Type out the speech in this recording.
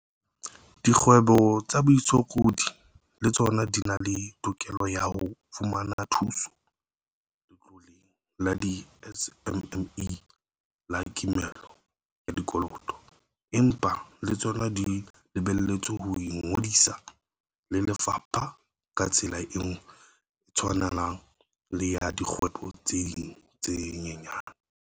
Dikgwebo tsa baitshokodi le tsona di na le tokelo ya ho fumana thuso Letloleng la di-SMME la kimollo ya Dikoloto, empa le tsona di lebelletswe ho ingodisa le lefapha ka tsela e tshwanang le ya dikgwebo tse ding tse nyenyane.